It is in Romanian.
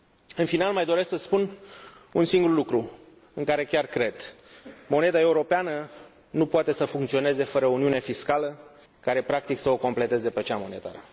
În final, mai doresc să spun un singur lucru, în care chiar cred moneda europeană nu poate să funcționeze fără uniune fiscală, care, practic, să o completeze pe cea monetară.